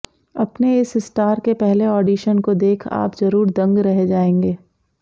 अपने इस स्टार के पहले ऑडीशन को देख आप जरूर दंग रह जाएंगे